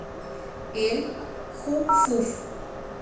эль хуфуф